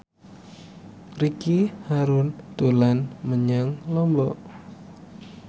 Ricky Harun dolan menyang Lombok